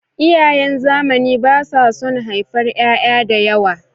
Iyayen zamani ba su son haifar ƴaƴa da yawa.